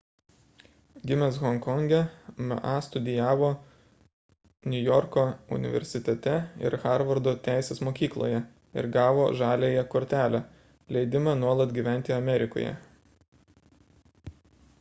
gimęs honkonge ma studijavo niujorko universitete ir harvardo teisės mokykloje ir gavo žaliąją kortelę leidimą nuolat gyventi amerikoje